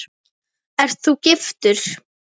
Ert þú giftur?